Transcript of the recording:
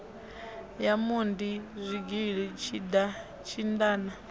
ya mondi zwigili tshinda na